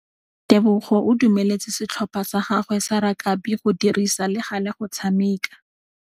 Tebogô o dumeletse setlhopha sa gagwe sa rakabi go dirisa le galê go tshameka.